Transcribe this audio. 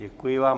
Děkuji vám.